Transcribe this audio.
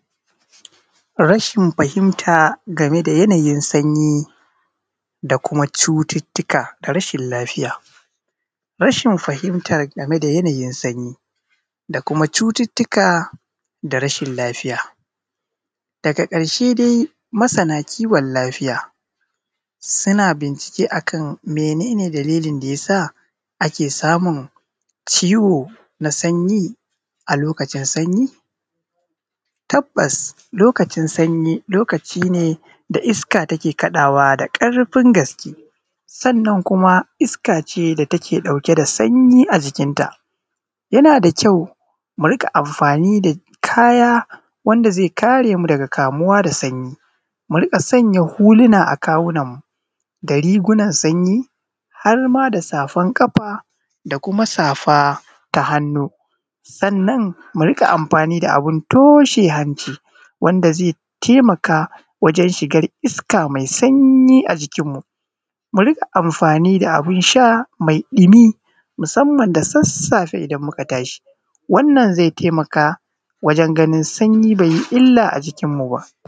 Rashin fahimta game da yanayin sanyi da kuma cututtuka na rashin-lafiya. Rashin fahimta game da yanayin sanyi da kuma cututtuka da kuma rashin-lafiya. Daga ƙarshe dai, masana kiwon-lafiya suna bincike akan mene ne dalilin da yasa ake samun ciwo na an yi a lokacin sanyi. Tabbas, lokacin sanyi lokaci ne da iska take kaɗawa da ƙarfin gaske, sannan kuma iska ce da mai ɗauke da sanyi a jikin ta. Yana da kyau mu riƙa amfani da kaya wanda zai kare mu daga kamuwa da sanyi. Mu riƙa sanya huluna a kawunan mu, da rigunan sanyi, har ma da safan ƙafa da kuma safunan hannu. Sannan mu riƙa amfani da abun toshe hanci, wanda zai tayamu da hana shigan iska mai sanyi a jiki. Mu riƙa amfani da abun sha mai ɗumi, musamman da sassafe idan muka tashi. Wannan zai taimaka wajen ganin sanyi ba yi illa a jikin mu ba.